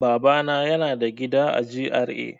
Babana yana da gida a G.R.A.